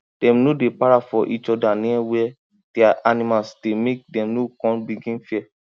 dem no dey para for eachother near where dia animals dey make dem no con begin fear